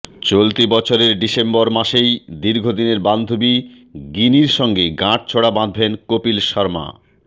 চলতি বছরের ডিসেম্বর মাসেই দীর্ঘদিনের বান্ধবী গিনির সঙ্গে গাঁটছড়া বাঁধবেন কপিল শর্মা